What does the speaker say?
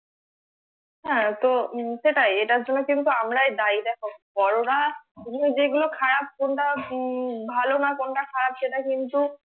হ্যাঁ তো সেটাই এটার জন্য কিন্তু আমরাই দায়ী দেখো বড়রা যেগুলো খারাপ কোনটা ভালো না কোনটা খারাপ সেটা কিন্তু